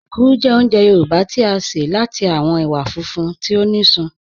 Èkúrú jẹ́ ọ̀únjẹ̀ Yorùbá tí a ṣẹ̀ láti awọn èwà fúnfún tí o ní sísún